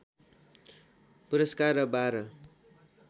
पुरस्कार र बाह्र